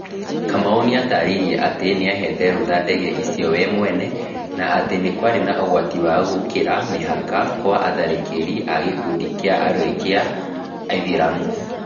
Kamau nĩatarĩirie atĩ nĩahaete rũtha ndege icio we mwene na atĩ nĩ kwarĩ na ũgwati wa gũkĩra mĩhaka kwa atharĩkĩri a gĩkundi kĩa arũĩ kĩa aithĩramu